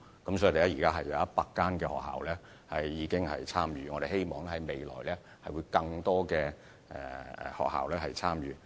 現時已有約100間學校參與計劃，我們希望將來有更多學校參與。